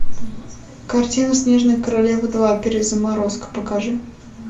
картина снежная королева два перезаморозка покажи